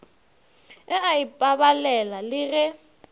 e a ipabalela le ge